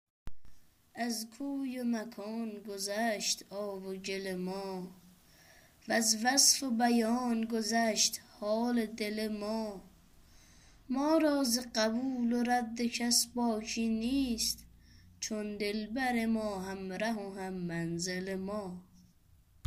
از کوی و مکان گذشت آب و گل ما وز وصف و بیان گذشت حال دل ما ما را زقبول و رد کس باکی نیست چون دلبر ما همره و هم منزل ما